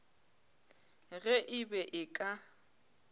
ge e be e ka